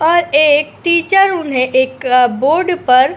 और एक टीचर उन्हें एक आ बोर्ड पर --